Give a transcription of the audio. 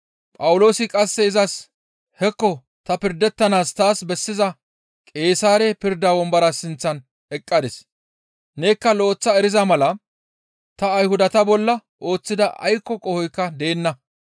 Phawuloosi qasse izas, «Hekko ta pirdettanaas taas bessiza Qeesaare pirda wombora sinththan eqqadis; nekka lo7eththa eriza mala ta Ayhudata bolla ooththida aykko qohoykka deenna.